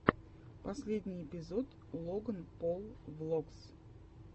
последний эпизод логан пол влогс